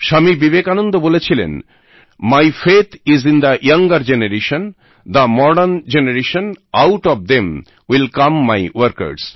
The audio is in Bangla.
স্বামী বিবেকানন্দ বলেছিলেন my faith is in the younger generation the modern generation out of them will come my workers